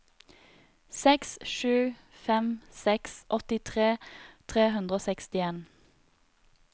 seks sju fem seks åttitre tre hundre og sekstien